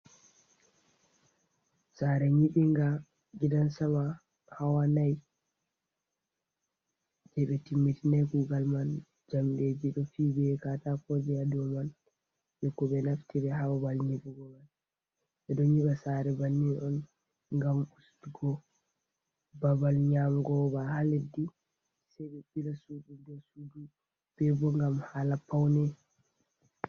Sare nyiɓiinga gidan sama hawa nai, je ɓe timmitinai kugal man. Jamɗeeji ɗo fiyi be katako eya dou man jei ko ɓe naftiri haa babal nyiɓugo man. Ɓe ɗon nyiɓa sare banni on ngam ustugo babal nyaamugo ba ha leddi sai ɓe ɓila sudu dou sudu, be bo ngam hala paune.